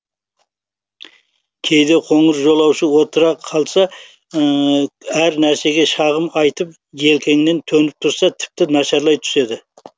кейде қыңыр жолаушы отыра қалса әр нәрсеге шағым айтып желкеңнен төніп тұрса тіпті нашарлай түседі